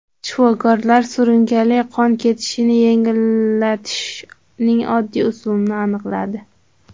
Shifokorlar surunkali qon ketishini yengillatishning oddiy usulini aniqladi.